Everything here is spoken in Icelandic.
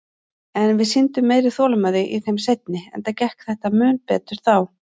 En við sýndum meiri þolinmæði í þeim seinni, enda gekk þetta mun betur þá.